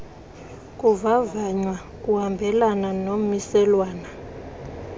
kuvavanywa kuhambelana nommiselwana